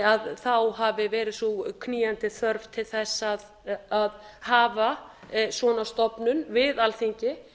að þá hafi verið sú knýjandi þörf til þess að hafa svona stofnun við alþingi